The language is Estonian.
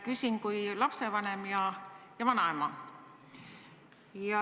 Küsin kui lapsevanem ja vanaema.